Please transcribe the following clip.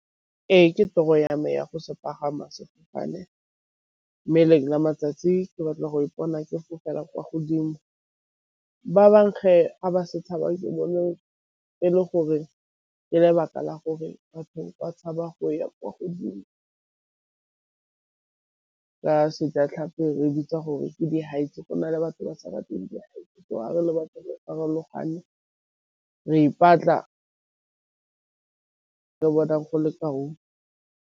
Ee, ke tiro ya me ya go se pagama sefofane, mme lengwe la matsatsi ke batla go ipona ke fofela kwa godimo. Ba ba ba setshabang e le gore ka lebaka la gore batho ba tshaba go ya kwa godimo, ka Sejatlhapi re bitsa gore ke di-heights go na le batho ba sa batleng di-height, so fa re le batho re farologane re ipatla bonang go le .